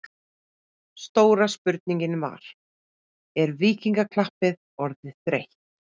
Stóra spurningin var: Er Víkingaklappið orðið þreytt?